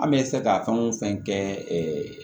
An bɛ se ka fɛn o fɛn kɛ